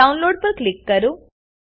Downloadપર click કરો